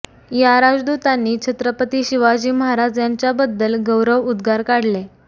या राजदूतांनी छत्रपती शिवाजी महाराज यांच्याबद्दल गौरव उद्गार काढले